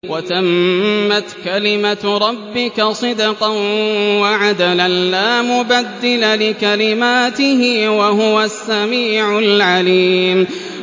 وَتَمَّتْ كَلِمَتُ رَبِّكَ صِدْقًا وَعَدْلًا ۚ لَّا مُبَدِّلَ لِكَلِمَاتِهِ ۚ وَهُوَ السَّمِيعُ الْعَلِيمُ